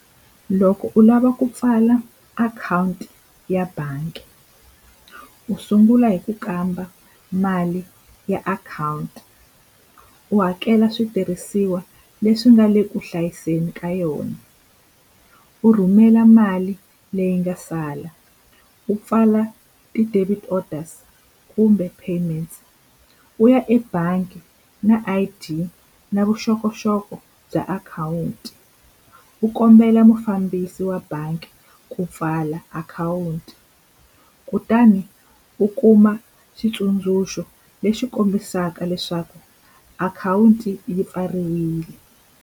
Loko u lava ku pfala akhawunti ya bangi u sungula hi ku kamba mali ya akhawunti u hakela switirhisiwa leswi nga le kuhlayiseni ka yona u rhumela mali leyi nga sala u pfala ti-debit orders kumbe payments u ya ebangi na I_D na vuxokoxoko bya akhawunti wu kombela mufambisi wa bangi ku pfala akhawunti kutani u kuma xitsundzuxo lexi kombisaka leswaku akhawunti yi pfariwile.